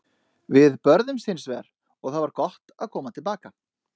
Við börðumst hins vegar og það var gott að koma til baka.